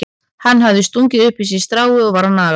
Hann hafði stungið upp í sig strái og var að naga það.